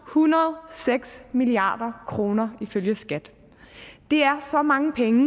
hundrede og seks milliard kroner ifølge skat det er så mange penge